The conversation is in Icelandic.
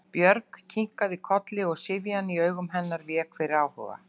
Björg kinkaði kolli og syfjan í augum hennar vék fyrir áhuga.